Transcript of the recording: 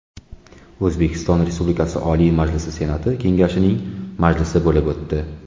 O‘zbekiston Respublikasi Oliy Majlisi Senati Kengashining majlisi bo‘lib o‘tdi.